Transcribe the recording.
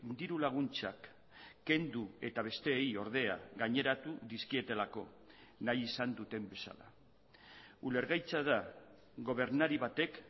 diru laguntzak kendu eta besteei ordea gaineratu dizkietelako nahi izan duten bezala ulergaitza da gobernari batek